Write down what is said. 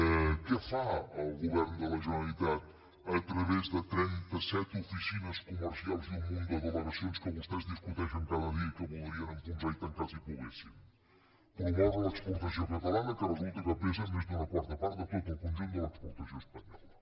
i què fa el govern de la generalitat a través de trentaset oficines comercials i un munt de delegacions que vostès discuteixen cada dia i que voldrien enfonsar i tancar si poguessin promoure l’exportació catalana que resulta que pesa més d’una quarta part de tot el conjunt de l’exportació espanyola